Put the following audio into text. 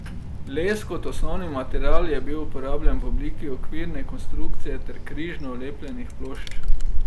Les kot osnovni material je bil uporabljen v obliki okvirne konstrukcije ter križno lepljenih plošč.